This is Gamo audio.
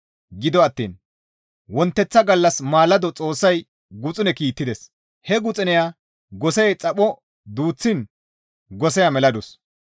Gido attiin wonteththa gallas maalado Xoossay guxune kiittides; he guxuneya gosey xapho duuththiin goseya meladus.